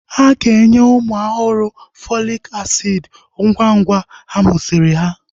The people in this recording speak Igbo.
Aga enye ụmụ ọhụrụ Fọlik asiid ngwa ngwa amusiri ha